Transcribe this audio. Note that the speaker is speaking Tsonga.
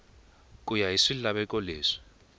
ku ya hi swilaveko leswi